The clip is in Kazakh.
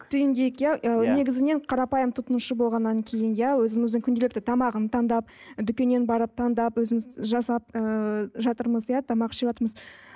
түйіндейік иә ы негізінен қарапайым тұтынушы болғаннан кейін иә өзіміздің күнделікті тамағын таңдап дүкеннен барып таңдап өзіміз жасап ыыы жатырмыз иә тамақ ішіватырмыз